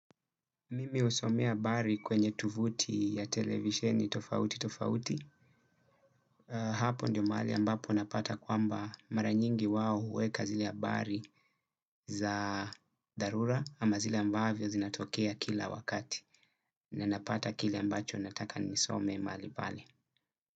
Mimi husomea habari kwenye tovuti ya televisheni tofauti tofauti. Hapo ndio mahali ambapo napata kwamba mara nyingi wao huweka zile habari za dharura ama zile ambavyo zinatokea kila wakati. Na napata kile ambacho nataka nisome mahali pale.